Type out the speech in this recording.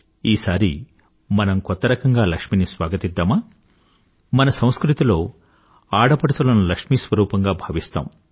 ఈసారి మనం కొత్త రకంగా లక్ష్మిని స్వాగతిద్దామా మన సంస్కృతిలో ఆడపడుచులను లక్ష్మీ స్వరూపంగా భావిస్తాము